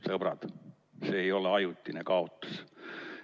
Sõbrad, see ei ole ajutine kaotus.